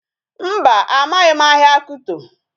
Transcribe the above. Mba, amaghị m ahịa Kito